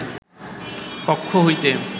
কক্ষ হইতে